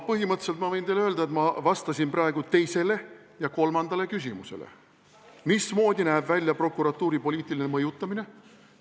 Põhimõtteliselt ma võin teile öelda, et ma vastasin praegu teisele ja kolmandale küsimusele: mismoodi näeb välja prokuratuuri poliitiline mõjutamine?